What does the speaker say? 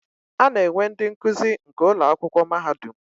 Ana enwe ndi nkuzi nke Ụlọ akwụkwọ mahadum.